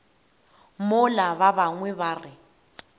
mola ba bangwe ba re